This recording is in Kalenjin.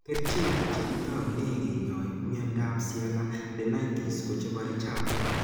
Kerchek che kitaune kinyai miondap sialadenitis ko chepare chapuuk